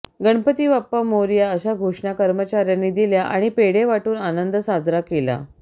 गणपती बाप्पा मोरया अशा घोषणा कर्मचाऱ्यांनी दिल्या आणि पेढे वाटून आनंद साजरा केला